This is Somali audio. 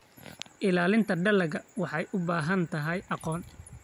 Ilaalinta dalagga waxay u baahan tahay aqoon.